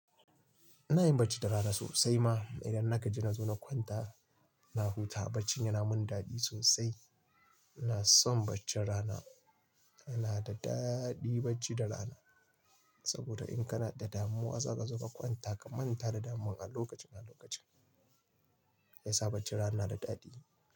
Ina yin bacci da rana sosai ma idan nagaji na zo na kwanta, na huta bacci yana mun daɗi sosai. Ina son bacci rana, yana da daɗi bacci da rana saboda in kana da damuwa za ka zuba kwanta ka manta da damuwar a lokaci na lokaci. Gaskiya bacci rana na da daɗi.